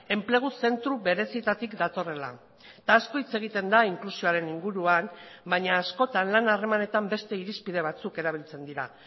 enplegu zentro berezietatik datorrela eta asko hitz egiten da inklusioaren inguruan baina askotan lan harremanetan beste irizpide batzuk erabiltzen dira